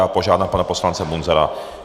Já požádám pana poslance Munzara.